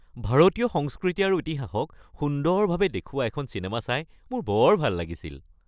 ভাৰতীয় সংস্কৃতি আৰু ইতিহাসক সুন্দৰভাৱে দেখুওৱা এখন চিনেমা চাই মোৰ বৰ ভাল লাগিছিল।